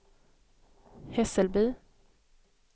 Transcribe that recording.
Hässelby